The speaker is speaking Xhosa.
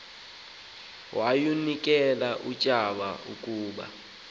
yawunikel utshaba ukuba